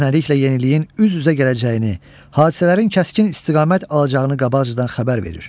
Köhnəliklə yeniliyin üz-üzə gələcəyini, hadisələrin kəskin istiqamət alacağını qabaqcadan xəbər verir.